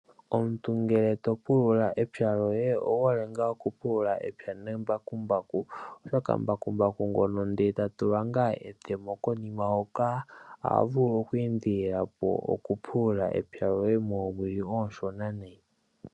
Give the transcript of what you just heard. Omuntu ngele topulula epya lyohe owuhole ngaa okupulula epya nembakumbaku oshoka mbakumbaku ngono ndele tatulwa ngaa etemo konima hoka oha vulu oku endelela po okupulula epya loye moowili ooshona nayi.